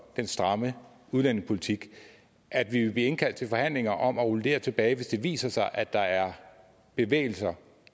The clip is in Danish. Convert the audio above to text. den stramme udlændingepolitik at vi vil blive indkaldt til forhandlinger om at rulle det her tilbage hvis det viser sig at der er bevægelse